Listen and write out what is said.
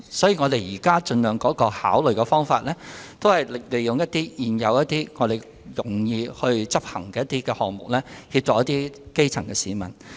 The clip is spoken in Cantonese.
所以，我們現時考慮的方向是，盡量利用現有及較容易執行的項目來協助基層市民。